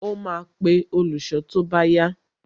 Ó máa pe olùṣọ́ tó bá yá